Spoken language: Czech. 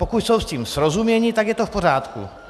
Pokud jsou s tím srozuměni, tak je to v pořádku.